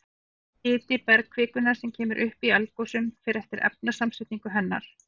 Hiti bergkvikunnar sem kemur upp í eldgosum fer eftir efnasamsetningu hennar.